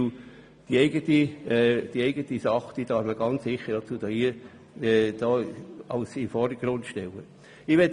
Das kantonseigene Holz darf sicher in den Vordergrund gestellt werden.